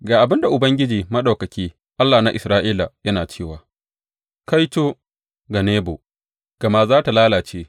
Ga abin da Ubangiji Maɗaukaki, Allah na Isra’ila, yana cewa, Kaito ga Nebo, gama za tă lalace.